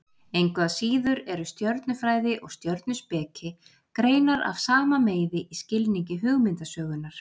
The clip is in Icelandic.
Engu að síður eru stjörnufræði og stjörnuspeki greinar af sama meiði í skilningi hugmyndasögunnar.